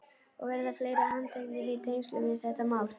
Og verða fleiri handteknir í tengslum við þetta mál?